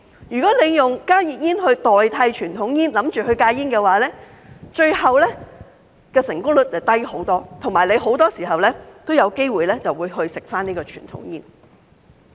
如果打算利用加熱煙代替傳統煙來戒煙，最後的成功率會大大降低，而且很多時候也有機會再次吸食傳統煙。